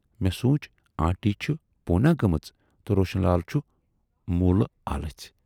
مےٚ سونچ"آنٹی چھِ پوٗناہ گٲمٕژ تہٕ روشن لال چھُ موٗلہٕ آلژٕھۍ۔